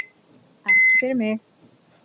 Ekki fyrir mig